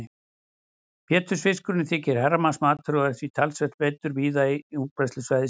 Pétursfiskurinn þykir herramannsmatur og er því talsvert veiddur víða á útbreiðslusvæði sínu.